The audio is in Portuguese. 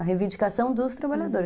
A reivindicação dos trabalhadores.